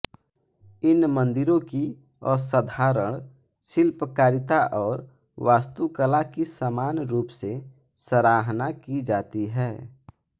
इन मंदिरों की असाधारण शिल्पकारिता और वास्तुकला की समान रूप से सराहना की जाती है